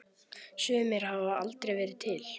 Sumir hafa aldrei verið til.